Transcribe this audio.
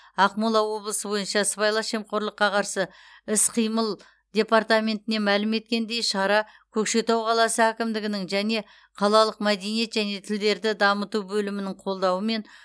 ақмола облысы бойынша сыбайлас жемқорлыққа қарсы іс қимыл департаментінен мәлім еткендей шара көкшетау қаласы әкімдігінің және қалалық мәдениет және тілдерді дамыту бөлімінің қолдауымен